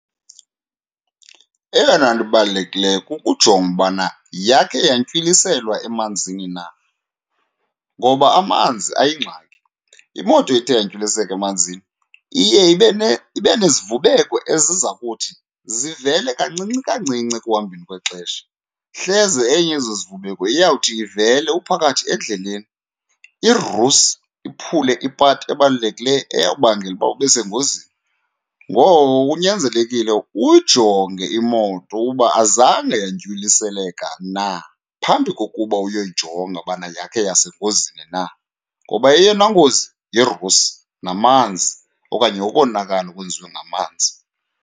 Eyona nto ibalulekileyo kukujonga ubana yakhe yantywiliselwa emanzini na ngoba amanzi ayingxaki. Imoto ethe yantywiliseka emanzini iye ibe , ibe nezivubeko eziza kuthi zivele kancinci kancinci ekuhambeni kwexesha. Hleze enye yezo zivubeko iyawuthi ivele uphakathi endleleni, irusi iphule ipati ebalulekileyo eyawubangela uba ube sengozini. Ngoko kunyanzelekile uyijonge imoto uba azange yantywiliseleka na phambi kokuba uyoyijonga ubana yakhe yasengozini na, ngoba eyona ngozi yirusi namanzi okanye ukonakala okwenziwe ngamanzi.